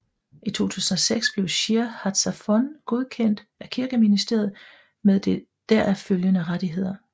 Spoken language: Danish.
I 2006 blev Shir Hatzafon godkendt af Kirkeministeriet med deraf følgende rettigheder